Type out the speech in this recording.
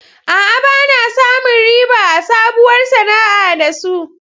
A'a, ba na samun riba a sabuwar sana'a da su.